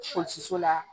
Fosi so la